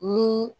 Ni